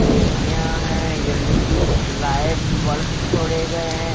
AC_ है LED lights वल्फ छोड़े गए हैं।